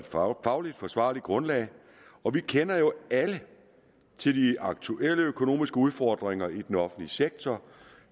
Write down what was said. fagligt forsvarligt grundlag og vi kender jo alle til de aktuelle økonomiske udfordringer i den offentlige sektor